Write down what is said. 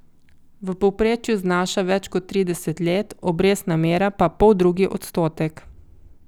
V povprečju znaša več kot trideset let, obrestna mera pa poldrugi odstotek.